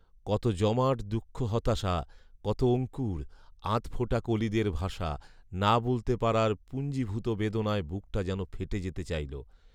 কত জমাট দুঃখ হতাশা, কত অঙ্কুর, আধফোটা কলিদের ভাষা, না বলতে পারার পুঞ্জীভূত বেদনায় বুকটা যেন ফেটে যেতে চাইল